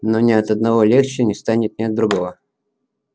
но ни от одного легче не станет ни от другого